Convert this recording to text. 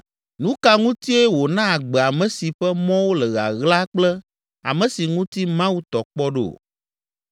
Nu ka ŋutie wòna agbe ame si ƒe mɔwo le ɣaɣla kple ame si ŋuti Mawu tɔ kpɔ ɖo?